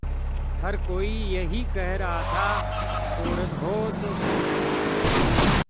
हर कोई यही कह रहा था औरत हो तो सविताजी जैसी